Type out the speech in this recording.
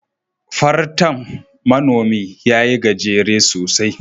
Fartan Manomi ya yi gajere sosai